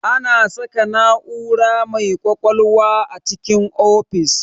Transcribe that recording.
Ana saka na'ura mai ƙwaƙwalwa a cikin ofis